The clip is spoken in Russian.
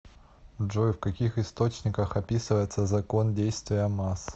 джой в каких источниках описывается закон действия масс